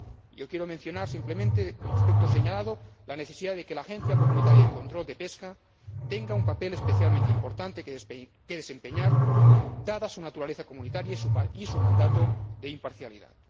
Yo quiero mencionar simplemente, como aspecto señalado, la necesidad de que la Agencia Comunitaria de Control de la Pesca tenga un papel especialmente importante que desempeñar, dada su naturaleza comunitaria y su mandato de imparcialidad.